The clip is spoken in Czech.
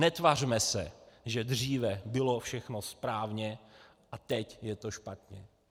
Netvařme se, že dříve bylo všechno správně a teď je to špatně.